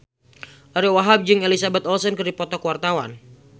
Ariyo Wahab jeung Elizabeth Olsen keur dipoto ku wartawan